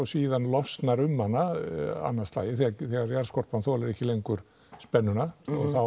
síðan losnar um hana annað slagið þegar jarðskorpan þolir ekki lengur spennuna